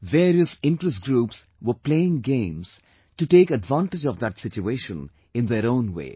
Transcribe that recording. Various interest groups were playing games to take advantage of that situation in their own way